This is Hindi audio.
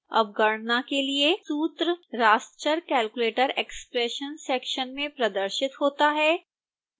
अब गणना के लिए सूत्र raster calculator expression सेक्शन में प्रदर्शित होता है